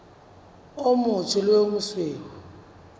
o motsho le o mosweu